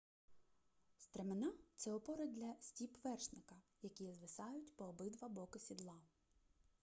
стремена це опори для стіп вершника які звисають по обидва боки сідла